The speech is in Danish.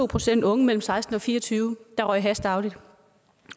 procent unge mellem seksten og fire og tyve der røg hash dagligt